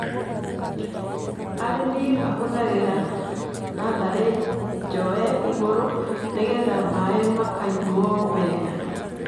Arĩmi mahũthagĩra nathaĩ njoe igũrũ nĩgetha maĩ makanyuo wega.